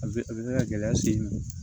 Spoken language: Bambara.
A bɛ a bɛ se ka gɛlɛya se n ma